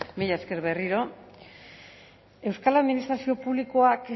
mila esker berriro euskal administrazio publikoak